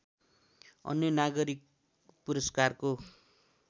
अन्य नागरिक पुरस्कारको